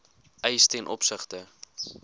eis ten opsigte